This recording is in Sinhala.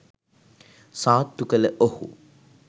සාත්තු කළ ඔහු